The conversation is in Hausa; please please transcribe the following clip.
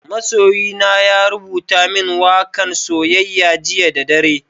Masoyina ya rubuta min waka'n soyayya jiya da dare.